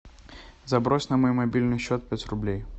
забрось на мой мобильный счет пять рублей